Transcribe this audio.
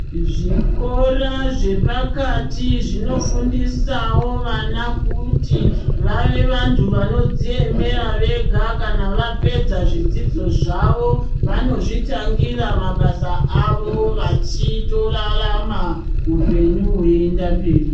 Zvikora zvepakati zvinofundisawo vana kuti vave vantu vanodziemera vega kana vapedza zvidzidzo zvavo vanozvitangira mabasa avo vachitorarama hupenyu hweienda mberi.